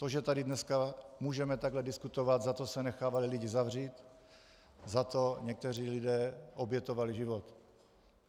To, že tady dneska můžeme takhle diskutovat, za to se nechávali lidi zavřít, za to někteří lidé obětovali život.